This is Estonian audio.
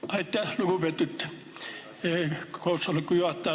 Aitäh, lugupeetud koosoleku juhataja!